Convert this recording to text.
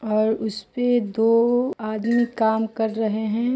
और उसपे दो आदमी काम कर रहे हैं।